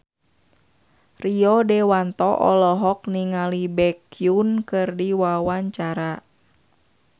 Rio Dewanto olohok ningali Baekhyun keur diwawancara